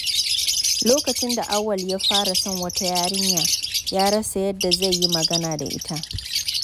Lokacin da Auwal ya fara son wata yarinya, ya rasa yadda zai yi magana da ita.